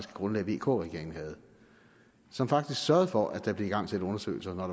grundlag vk regeringen havde som faktisk sørgede for at der blev igangsat undersøgelser når